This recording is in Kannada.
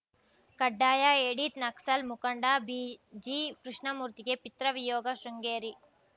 ಕಡ್ಡಾಯ ಎಡಿಟ್‌ ನಕ್ಸಲ್‌ ಮುಖಂಡ ಬಿಜಿಕೃಷ್ಣಮೂರ್ತಿಗೆ ಪಿತೃವಿಯೋಗ ಶೃಂಗೇರಿ